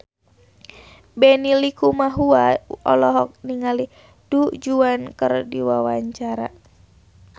Benny Likumahua olohok ningali Du Juan keur diwawancara